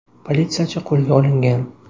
Politsiyachi qo‘lga olingan.